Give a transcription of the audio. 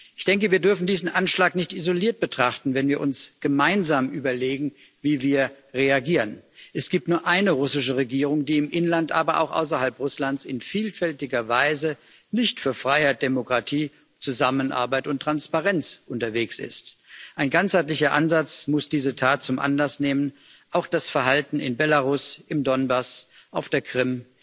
Ich denke, wir dürfen diesen Anschlag nicht isoliert betrachten, wenn wir uns gemeinsam überlegen, wie wir reagieren. Es gibt nur eine russische Regierung, die im Inland, aber auch außerhalb Russlands in vielfältiger Weise nicht für Freiheit, Demokratie, Zusammenarbeit und Transparenz unterwegs ist. Ein ganzheitlicher Ansatz muss diese Tat zum Anlass nehmen, auch das Verhalten in Belarus, im Donbass, auf der Krim,